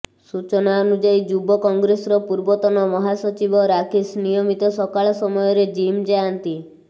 ସୂଚନା ଅନୁଯାୟୀ ଯୁବ କଂଗ୍ରେସର ପୂର୍ବତନ ମହାସଚିବ ରାକେଶ ନିୟମିତ ସକାଳ ସମୟରେ ଜିମ୍ ଯାଆନ୍ତି